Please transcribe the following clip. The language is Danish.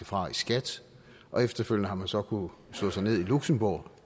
fra i skat og efterfølgende har man så kunnet slå sig ned i luxembourg